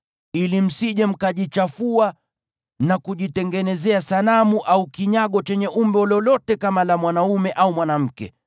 ili msije mkajichafua na kujitengenezea sanamu au kinyago chenye umbo lolote kama la mwanaume au mwanamke,